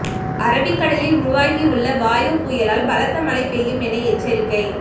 அரபிக்கடலில் உருவாகியுள்ள வாயு புயலால் பலத்த மழை பெய்யும் என எச்சரிக்கை